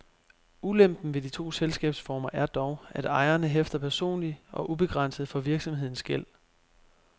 Ulempen ved de to selskabsformer er dog, at ejeren hæfter personligt og ubegrænset for virksomhedens gæld.